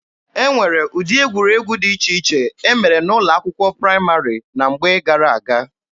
E nwere ụdị egwuregwu dị iche iche e mere n'ụlọ akwụkwọ praịmarị na mgbe gara-aga.